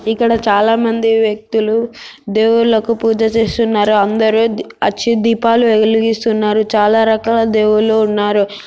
ఇక్కడ చాలా మంది వ్యక్తులు దేవుళ్లకు పూజ చేస్తున్నారు అందరు ఆ దీపాలు వెలిగిస్తున్నారు చాలా రకాల దేవుళ్ళు ఉన్నారు.